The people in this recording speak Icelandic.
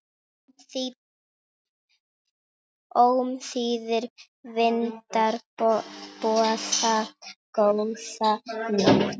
Ómþýðir vindar boða góða nótt.